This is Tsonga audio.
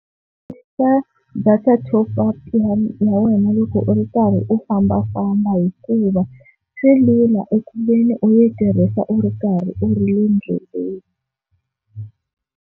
Data top-up ya ya wena loko u ri karhi u fambafamba hikuva swi lula eku veni u yi tirhisa u ri karhi u ri le ndleleni.